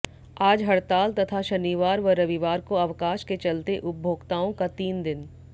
आज हड़ताल तथा शनिवार व रविवार को अवकाश के चलते उपभोक्ताओं का तीन दिन